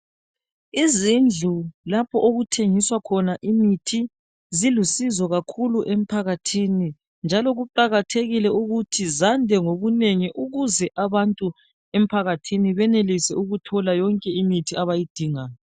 Izindlu lapho okuthengiswa khona imithi zilusizo kakhulu emphaakathini njalo kuqakathekile ukuthi zande ngobunengi ukuze abantu emphakathini benelise ukuthola yonke imithi abayidingayo.